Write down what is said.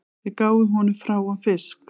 Við gáfum honum hráan fisk